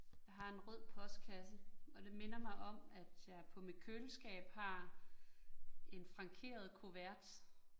Jeg har en rød postkasse. Og det minder mig om, at jeg på mit køleskab har en frankeret kuvert